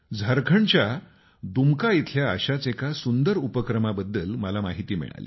झारखंडच्या दुमका इथल्या अशाच एका सुंदर उपक्रमाबाबत मला माहिती मिळाली